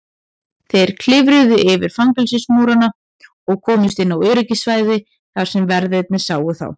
Þeir klifruðu yfir fangelsismúrana og komust inn á öryggissvæði þar sem verðirnir sáu þá.